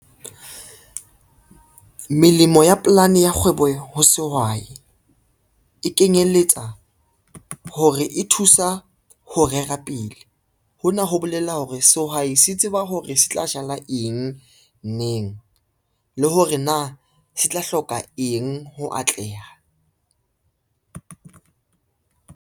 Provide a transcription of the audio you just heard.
Melemo ya polane ya kgwebo ho sehwai, e kenyelletsa hore e thusa ho rera pele hona ho bolaya llela hore sehwai se tseba hore se tla jala eng, neng le hore na se tla hloka eng ho atleha.